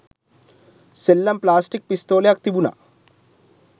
සෙල්ලම් ප්ලාස්ටික් පිස්තෝලයක් තිබුනා